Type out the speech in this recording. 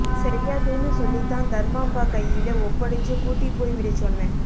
செய்யாதேன்னு சொல்லித்தான் தர்மாம்பா கையிலே ஒப்படச்சு கூட்டிப் போய் விடச் சொன்னேன்